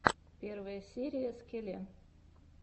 первая серия скеле